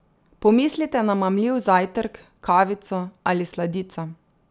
Pomislite na mamljiv zajtrk, kavico ali sladico.